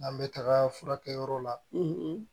N'an bɛ taga furakɛ yɔrɔ la